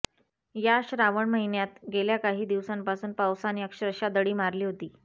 या श्रावण महिन्यात गेल्या काही दिवसांपासून पावसाने अक्षरशः दडी मारली होती